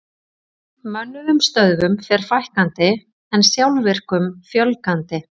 Mönnuðum stöðvum fer fækkandi en sjálfvirkum fjölgandi.